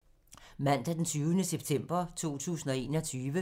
Mandag d. 20. september 2021